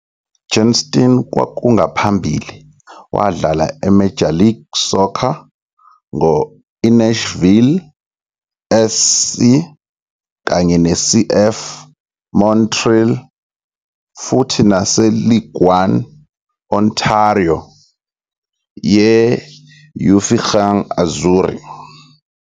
Johnston kwakungaphambili wadlala e-Major League Soccer ngo-INashville SC kanye ne-CF Montreal, futhi nase-League1 Ontario ye-UVaughan Azzurri.